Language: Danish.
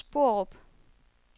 Sporup